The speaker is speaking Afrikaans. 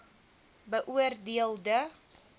beoor deel de